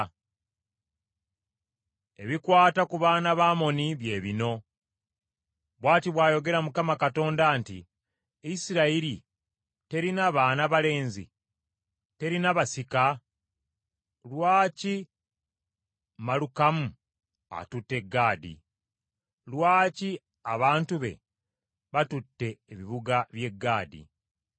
Ebikwata ku baana ba Amoni bye bino. Bw’ati bw’ayogera Mukama Katonda nti, “Isirayiri terina baana balenzi? Terina basika? Lwaki Malukamu atutte Gaadi? Lwaki abantu be batutte ebibuga by’e Gaadi?